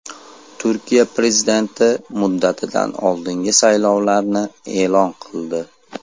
Turkiya prezidenti muddatidan oldingi saylovlarni e’lon qildi.